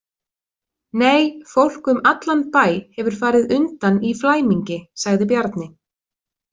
Nei, fólk um allan bæ hefur farið undan í flæmingi, sagði Bjarni.